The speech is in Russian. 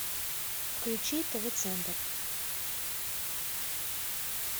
включи тв центр